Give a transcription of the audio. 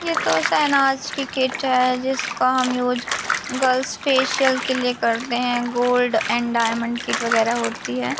यह तो शहनाज कि कीट है जिसको हम यूज गर्ल्स फेशियल के लिए करते हैं गोल्ड एंड डायमंड किट वगैरा होती है।